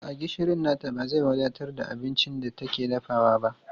A'a, gishirin nata ba zai wadatar da abincin da take dafawa ba.